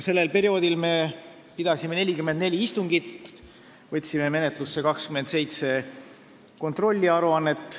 Sellel perioodil me pidasime 44 istungit ja võtsime menetlusse 27 kontrolliaruannet.